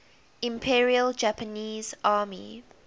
imperial japanese army